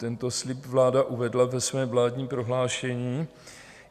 Tento slib vláda uvedla ve svém vládním prohlášení.